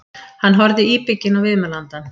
Hann horfði íbygginn á viðmælandann.